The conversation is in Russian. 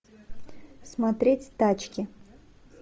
смотреть тачки